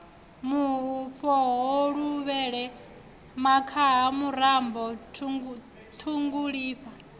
mufhoho luvhele makhaha murambo ṱhungulifha